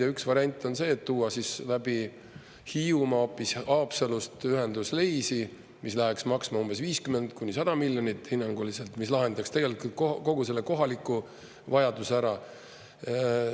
Ja üks variant on see, et tuua läbi Hiiumaa hoopis Haapsalust ühendus Leisi, mis läheks maksma umbes 50–100 miljonit eurot hinnanguliselt, mis lahendaks tegelikult kogu selle kohaliku vajaduse ära.